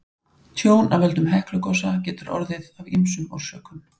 tjón af völdum heklugosa getur orðið af ýmsum orsökum